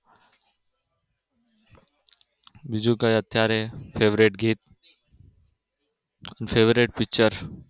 બીજું કોઈ અત્યારે favorite ગીત favorite picture